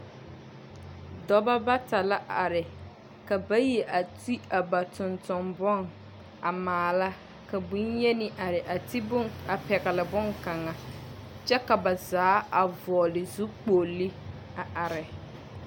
Dɔbɔ bata la are, ka bayi a ti a ba tontombon a maala. Ka bonyeni are a ti boŋ a pɛgele boŋkaŋa, kyɛ ka ba zaa a vɔɔle zukpoli a are.